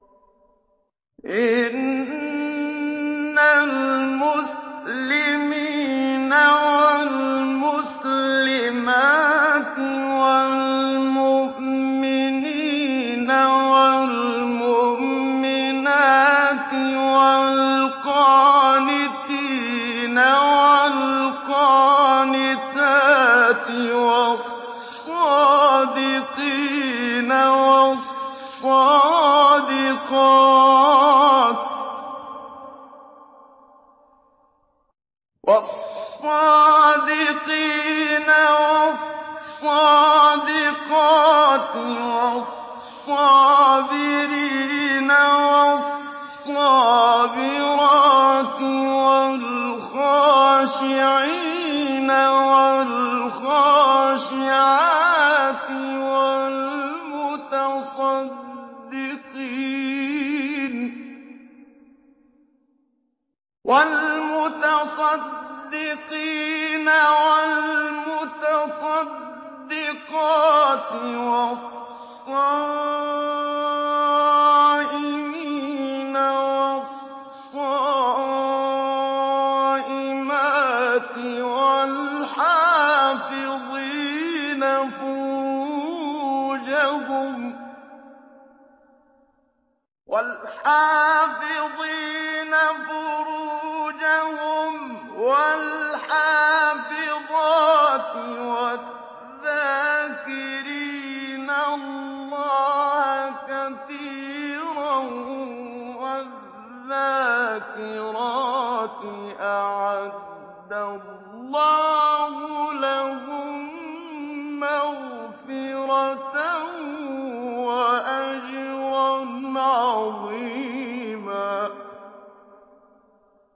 إِنَّ الْمُسْلِمِينَ وَالْمُسْلِمَاتِ وَالْمُؤْمِنِينَ وَالْمُؤْمِنَاتِ وَالْقَانِتِينَ وَالْقَانِتَاتِ وَالصَّادِقِينَ وَالصَّادِقَاتِ وَالصَّابِرِينَ وَالصَّابِرَاتِ وَالْخَاشِعِينَ وَالْخَاشِعَاتِ وَالْمُتَصَدِّقِينَ وَالْمُتَصَدِّقَاتِ وَالصَّائِمِينَ وَالصَّائِمَاتِ وَالْحَافِظِينَ فُرُوجَهُمْ وَالْحَافِظَاتِ وَالذَّاكِرِينَ اللَّهَ كَثِيرًا وَالذَّاكِرَاتِ أَعَدَّ اللَّهُ لَهُم مَّغْفِرَةً وَأَجْرًا عَظِيمًا